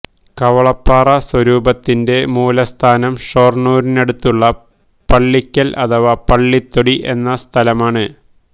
കവളപ്പാറ സ്വരൂപത്തിന്റെ മൂലസ്ഥാനം ഷൊർണ്ണൂരിനടുത്തുള്ള പള്ളിക്കൽ അഥവാ പളളിത്തൊടി എന്ന സ്ഥലമാണ്